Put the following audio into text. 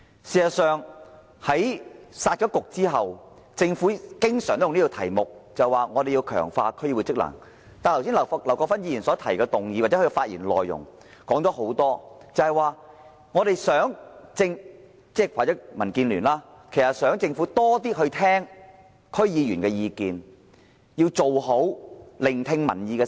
事實上，在"殺局"後，政府也經常表示要強化區議會職能，但劉國勳議員剛才提出的議案及其發言內容，甚或是民建聯，在在表示他們希望政府多聽取區議員的意見，要做好聆聽民意的工作。